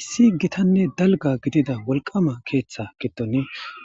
Issi gitane dalgga gidida wolqama keetha goddon